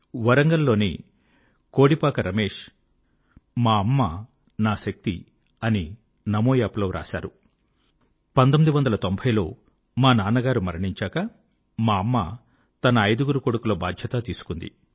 వరంగల్ లోని కోడిపాక రమేశ్ మా అమ్మ నా శక్తి అని నమో యాప్ లో వ్రాశారు 1990 లో మా నాన్నగారు మరణించాక మా అమ్మ తన ఐదుగురు కొడుకుల బాధ్యత తీసుకుంది